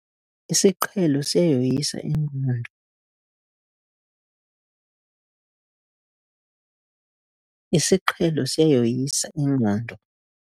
Isiqhelo siyayoyisa ingqondo. isiqhelo siyayoyisa ingqondo